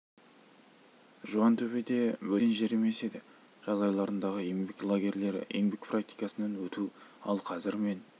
жуантөбе де бөтен жер емес еді жаз айларындағы еңбек лагерлері еңбек практикасынан өту ал қазір мен